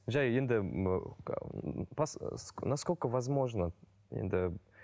жай енді насколько возможно енді